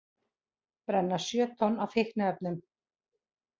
Brenna sjö tonn af fíkniefnum